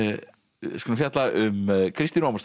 skulum fjalla um Kristínu Ómarsdóttur